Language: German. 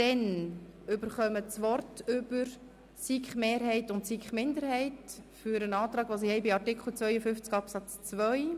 Dann erhalten die SiK-Mehrheit und die SiK-Minderheit das Wort für ihre jeweiligen Anträge zu Artikel 52 Absatz 2.